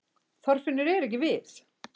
Þorfinnur er ekki við